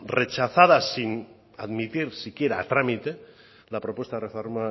rechazada sin admitir siquiera a trámite la propuesta de reforma